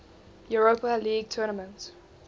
europa league tournament